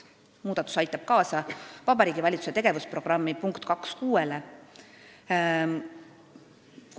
Muudatus aitab kaasa Vabariigi Valitsuse tegevusprogrammi punkti 2.6 täitmisele.